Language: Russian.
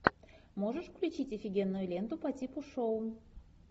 можешь включить офигенную ленту по типу шоу